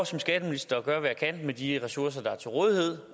som skatteminister at gøre hvad jeg kan med de ressourcer der er til rådighed